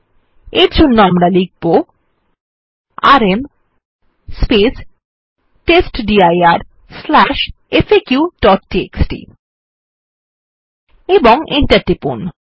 আমরা এর জন্য লিখব আরএম টেস্টডির faqটিএক্সটি ও এন্টার টিপুন